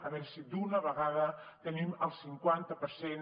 a veure si d’una vegada tenim el cinquanta per cent